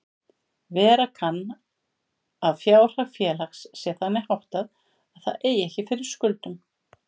Vera kann að fjárhag félags sé þannig háttað að það eigi ekki fyrir skuldum.